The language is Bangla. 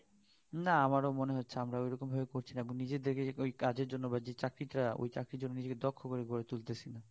না আমাদের ও মনে হচ্ছে আমরা ওরকম ভাবে করছি না আমরা নিজের জন্য বা কাজের জন্য বা যেই চাকরি টা ওই কাজের জন্য নিজের দক্ষ করে গড়ে তুলতেছি